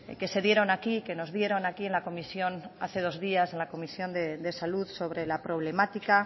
que se dieron aquí que nos dieron aquí en la comisión hace dos días en la comisión de salud sobre la problemática